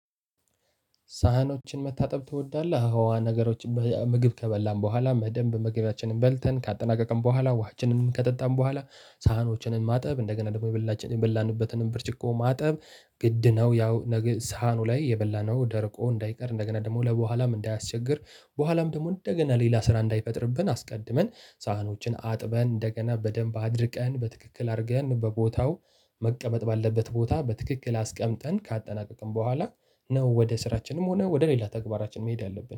ሳህኖችን መታጠብ ትወዳለህ? አዋ ነገሮችን ምግብ ከበላን በኋላ በደንብ ምግባችንን በልተን ካጠናቀቀን በኋላ ውሃችንንም ከጠጣን በኋላ ሳህኖችን ማጠብ እንደገና ደግሞ የበላንበትንም ብርጭቆ ማጠብ ግድ ነው። ያው ነገ ሳህኑ ላይ የበላነው ደርቆ እንዳይቀር እንደገና ደግሞ ለበኋላም እንዳያስቸግር በኋላም ደግሞ እንደገና ሌላ ስራ እንዳይፈጥርብን አስቀድመን ሳህኖችን አጥበን እንደገና በደንብ አድርቀን በትክክል አድርገን በቦታው መቀመጥ ባለበት ቦታ በትክክል አስቀምጠን ካጠናቀቅን በኋላ ነው። ወደ ስራችንም ሆነ ወደ ሌላ ተግባራችን መሄድ ያለብን